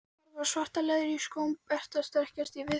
Horfi á svart leðrið í skóm Berta strekkjast í viðspyrnunni.